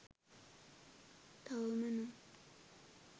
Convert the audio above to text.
තවම නම්